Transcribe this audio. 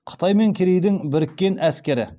қытай мен керейдің біріккен әскері